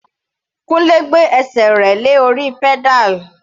Kunle gbé ẹsẹ̀ rẹ̀ lé orí pedal.